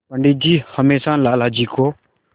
पंडित जी हमेशा लाला जी को